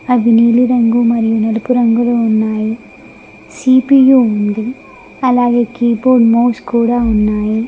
అవి నీలి రంగు మరియు నలుపు రంగులో ఉన్నాయి సి_పి_యు ఉంది అలాగే కీబోర్డ్ మౌస్ కూడా ఉన్నాయి.